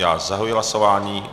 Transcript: Já zahajuji hlasování.